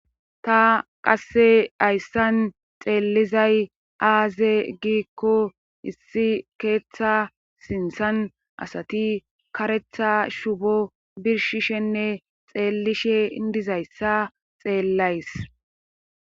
ta qasse hayssan xeellizay aaze giikko issi keeththa sintsan asati karetha shubo birshishenne xeellishe indizayssa xeellays